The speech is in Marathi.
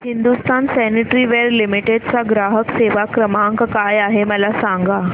हिंदुस्तान सॅनिटरीवेयर लिमिटेड चा ग्राहक सेवा क्रमांक काय आहे मला सांगा